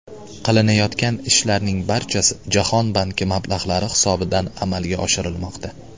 Qilinayotgan ishlarning barchasi Jahon banki mablag‘lari hisobidan amalga oshirilmoqda.